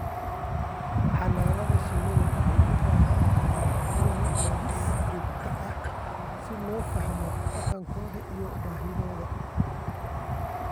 Xannaanada shinnidu waxay u baahan tahay cilmi-baadhis joogto ah si loo fahmo dhaqankooda iyo baahidooda.